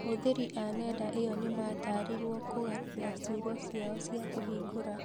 Ahũthĩri a nenda ĩyo nĩ mataarirwo kũgarũrĩra ciugo ciao cia kũhingũra .